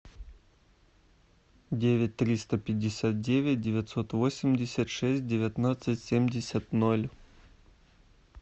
девять триста пятьдесят девять девятьсот восемьдесят шесть девятнадцать семьдесят ноль